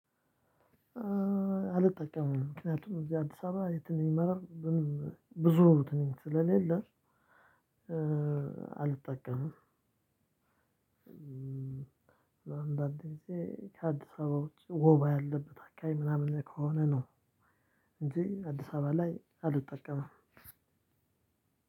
አልጠቀምም ምክንያቱም እዚህ አዲስ አበባ የትም ይመራል ብዙ እትን ስለሌለ አልጠቀምም አንዳንዴ ጊዜ ከአዲስ አበባ ውጪ ወባ ያለበት አከባቢ ምናምን ከሆነ ነው እንጂ አዲስ አበባ ላይ አልጠቀምም።